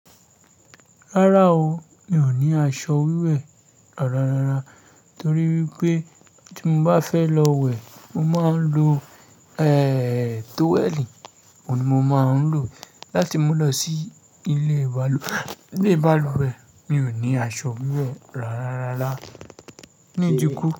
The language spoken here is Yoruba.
Rárá o, mi ò ní aṣọ wíwẹ̀ rárá. Torí wípé tí mo bá fẹ́ lọ wẹ̀, mo máa ń lo, ẹ́ẹ́, tówẹ̀lì, òun ni mo máa ń lò láti mo lọ sí ilé balùwẹ̀. Mi ò ní aṣọ wíwẹ̀ rárá.